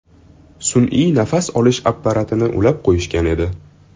Sun’iy nafas olish apparatini ulab qo‘yishgan edi.